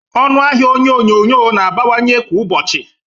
Ọnụ ahia onye onyoghonyo na-abawanye kwa ụbọchị